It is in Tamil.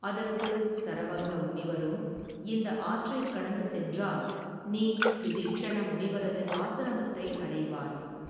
அதற்கு சரபங்க முனிவரும் இந்த ஆற்றைக் கடந்து சென்றால் நீ சுதீட்சண முனிவரது ஆசிரமத்தை அடைவாய்.